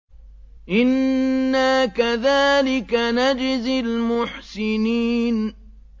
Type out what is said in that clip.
إِنَّا كَذَٰلِكَ نَجْزِي الْمُحْسِنِينَ